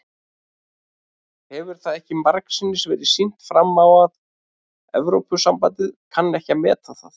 Hefur það ekki margsinnis verið sýnt fram á að Evrópusambandið kann ekki að meta það?